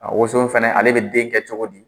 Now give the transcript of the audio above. A woson fɛnɛ ale bɛ den kɛ cogo di?